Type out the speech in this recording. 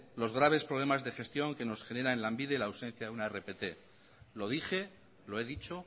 los graves problemas de gestión que nos genera en lanbide la ausencia de un rpt lo dije lo he dicho